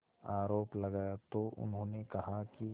आरोप लगाया तो उन्होंने कहा कि